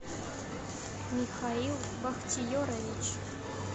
михаил бахтиерович